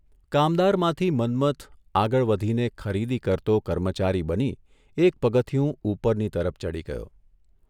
કામદારમાંથી મન્મથ આગળ વધીને ખરીદી કરતો કર્મચારી બની એક પગથિયું ઊપરની તરફ ચઢી ગયો.